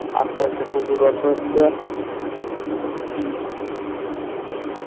আস্তে আস্তে হচ্ছে হম হম